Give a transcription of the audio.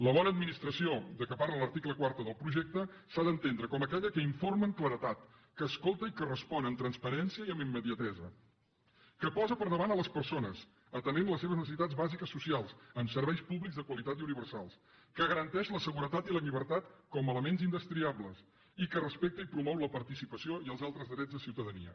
la bona administració de què parla l’article quatre del projecte s’ha d’entendre com aquella que informa amb claredat que escolta i que respon amb transparència i amb immediatesa que posa per davant les persones i atén les seves necessitats bàsiques socials amb serveis públics de qualitat i universals que garanteix la seguretat i la llibertat com a elements indestriables i que respecta i promou la participació i els altres drets de ciutadania